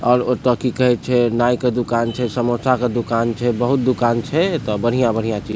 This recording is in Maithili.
आर ओयता कि कहे छै नाई के दुकान छै समोसा के दुकान छै बहुत दुकान छै ओयता बढ़िया-बढ़िया चीज़ --